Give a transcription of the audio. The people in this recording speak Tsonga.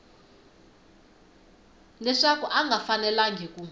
leswaku a nga fanelangi ku